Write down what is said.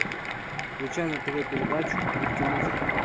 включай на тв передачу мультимузыка